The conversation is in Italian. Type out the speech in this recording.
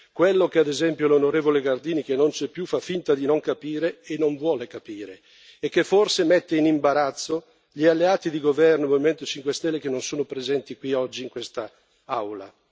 Quello che, ad esempio, l'onorevole Gardini, che non c'è più, fa finta di non capire e non vuole capire, e che forse mette in imbarazzo gli alleati di governo del Movimento 5 Stelle, che non sono presenti qui oggi in questa Aula.